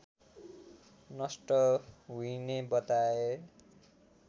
नष्ट हुइने बताए